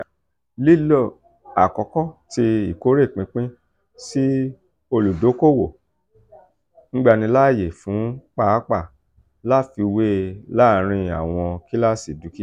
lilo akọkọ ti ikore pinpin si oludokoowo ngbanilaaye fun paapaa lafiwe laarin awọn kilasi dukia.